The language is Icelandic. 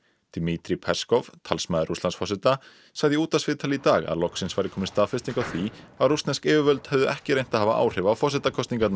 dmitri Peskov talsmaður Rússlandsforseta sagði í útvarpsviðtali í dag að loksins væri komin staðfesting á því að rússnesk yfirvöld hefðu ekki reynt að hafa áhrif á forsetakosningarnar